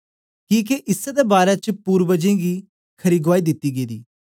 किके इसै दे बारै च पुर्वजें गीं खरी गुआई दिती गेदी